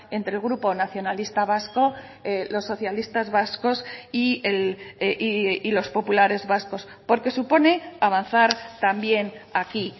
entre el grupo nacionalista vasco los socialistas vascos y los populares vascos porque supone avanzar también aquí